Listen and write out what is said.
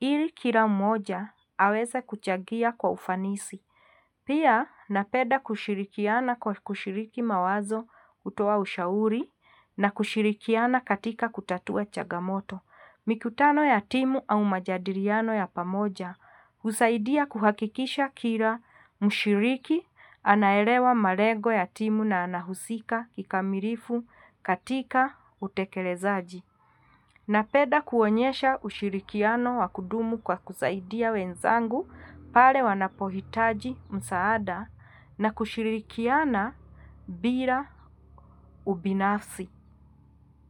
ili kila mmoja, aweza kuchagia kwa ufanisi. Pia napenda kushirikiana kwa kushiriki mawazo kutoa ushauri na kushirikiana katika kutatua chagamoto. Mikutano ya timu au majadiliano ya pamoja. Husaidia kuhakikisha kila mshiriki anaelewa malengo ya timu na anahusika kikamilifu katika utekelezaji. Napenda kuonyesha ushirikiano wakudumu kwa kusaidia wenzangu pale wanapohitaji msaada na kushirikiana bila ubinafsi.